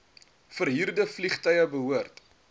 verhuurde vliegtuie behoort